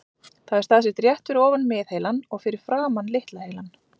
Það er staðsett rétt fyrir ofan miðheilann og fyrir framan litla heilann.